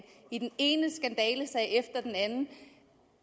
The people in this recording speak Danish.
i den ene skandalesag efter den anden og